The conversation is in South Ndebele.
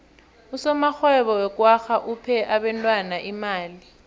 usomarhwebo wekwagga uphe abentwana imali